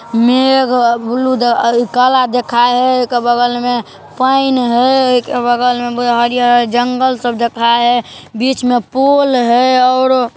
मेघ ब्लू काला दिखाय हेय एके बगल मे पैन हेय एके बगल मे हरियर-हरियर जंगल सब देखाय हेय बीच में पोल हेय और ----